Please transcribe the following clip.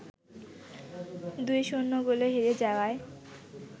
২-০ গোলে হেরে যাওয়ায়